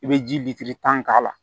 I bɛ ji tan k'a la